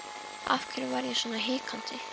Af hverju var ég svona hikandi?